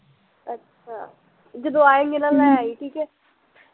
ਅੱਛਾ, ਜਦੋਂ ਆਏਗੀ ਨਾ ਲੈ ਆਈ ਠੀਕੇ